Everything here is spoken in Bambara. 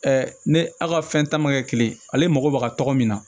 ne aw ka fɛn ta ma kɛ kelen ale mago bɛ ka tɔgɔ min na